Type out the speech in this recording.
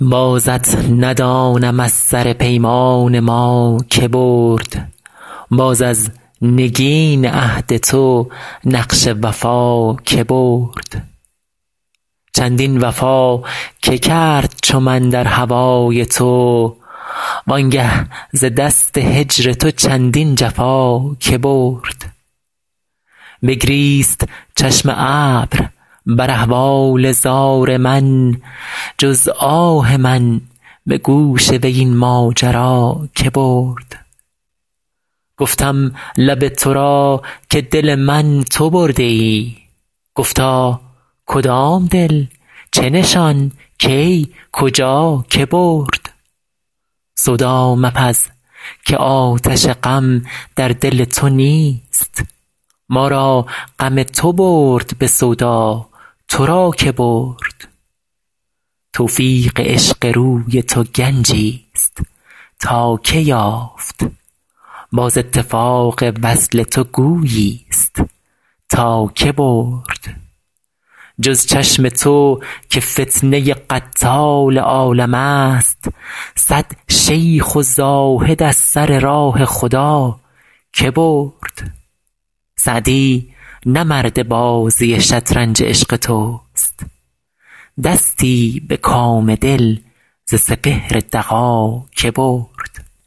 بازت ندانم از سر پیمان ما که برد باز از نگین عهد تو نقش وفا که برد چندین وفا که کرد چو من در هوای تو وان گه ز دست هجر تو چندین جفا که برد بگریست چشم ابر بر احوال زار من جز آه من به گوش وی این ماجرا که برد گفتم لب تو را که دل من تو برده ای گفتا کدام دل چه نشان کی کجا که برد سودا مپز که آتش غم در دل تو نیست ما را غم تو برد به سودا تو را که برد توفیق عشق روی تو گنجیست تا که یافت باز اتفاق وصل تو گوییست تا که برد جز چشم تو که فتنه قتال عالمست صد شیخ و زاهد از سر راه خدا که برد سعدی نه مرد بازی شطرنج عشق توست دستی به کام دل ز سپهر دغا که برد